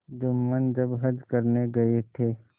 जुम्मन जब हज करने गये थे